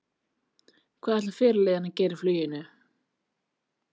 Hvað ætlar fyrirliðinn að gera í fluginu?